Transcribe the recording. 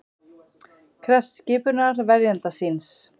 Krefst skipunar verjanda síns